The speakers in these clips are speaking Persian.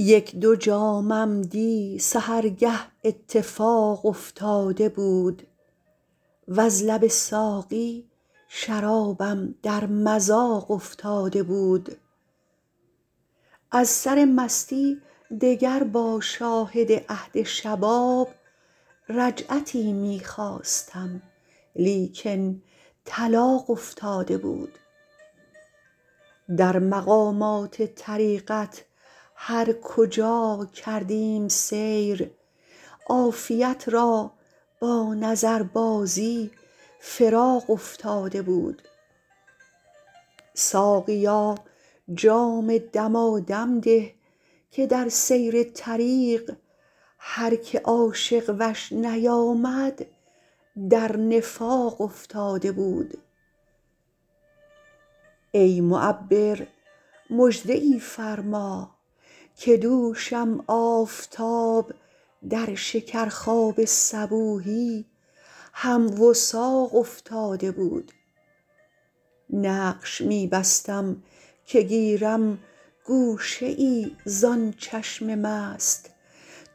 یک دو جامم دی سحرگه اتفاق افتاده بود وز لب ساقی شرابم در مذاق افتاده بود از سر مستی دگر با شاهد عهد شباب رجعتی می خواستم لیکن طلاق افتاده بود در مقامات طریقت هر کجا کردیم سیر عافیت را با نظربازی فراق افتاده بود ساقیا جام دمادم ده که در سیر طریق هر که عاشق وش نیامد در نفاق افتاده بود ای معبر مژده ای فرما که دوشم آفتاب در شکرخواب صبوحی هم وثاق افتاده بود نقش می بستم که گیرم گوشه ای زان چشم مست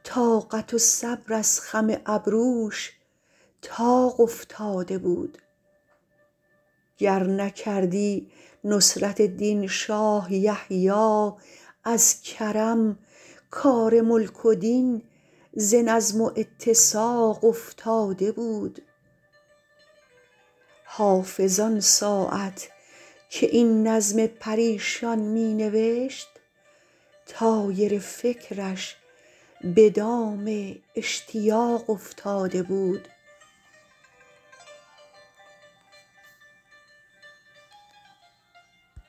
طاقت و صبر از خم ابروش طاق افتاده بود گر نکردی نصرت دین شاه یحیی از کرم کار ملک و دین ز نظم و اتساق افتاده بود حافظ آن ساعت که این نظم پریشان می نوشت طایر فکرش به دام اشتیاق افتاده بود